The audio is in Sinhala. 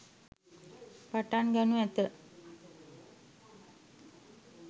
පටන් ගනු ඇත.